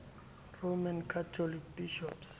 roman catholic bishops